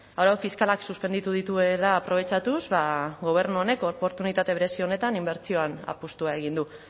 arau fiskalak suspenditu dituela aprobetxatuz ba gobernu honek oportunitate berezi honetan inbertsioan apustua egin du